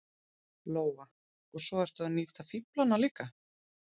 Lóa: Og svo ertu að nýta fíflana líka?